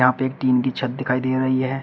यहां पे एक टीन की छत दिखाई दे रही है।